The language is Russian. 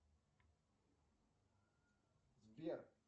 сбер